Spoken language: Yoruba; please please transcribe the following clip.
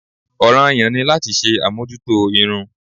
Ọ̀ràn-an-yàn ni láti ṣe àmójútó irun